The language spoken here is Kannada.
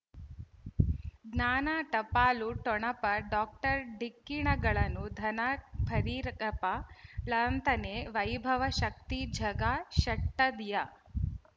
ಜ್ಞಾನ ಟಪಾಲು ಠೊಣಪ ಡಾಕ್ಟರ್ ಢಿಕ್ಕಿ ಣಗಳನು ಧನ ಫರೀರಪ್ಪ ಳಂತನೆ ವೈಭವ್ ಶಕ್ತಿ ಝಗಾ ಷಟ್ಟದಿಯ